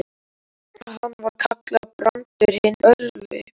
Hann var kallaður Brandur hinn örvi.